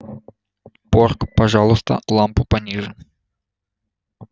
порк пожалуйста лампу пониже